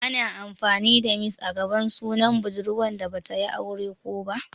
Ana amfani da "Miss" a gaban sunan budurwa da Bata yi aure kō ba.